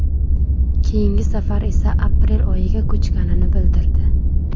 Keyingi safar esa aprel oyiga ko‘chganini bildirdi.